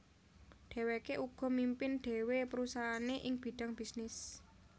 Dhèwèké uga mimpin dhéwé perusahaané ing bidang bisnis